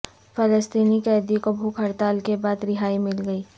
فلسطینی قیدی کو بھوک ہڑتال کے بعد رہائی مل گئی